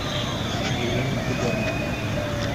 елена тугаринова